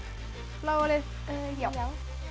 bláa lið já